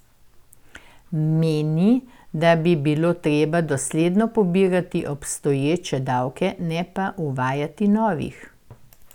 Meni, da bi bilo treba dosledno pobirati obstoječe davke, ne pa uvajati novih.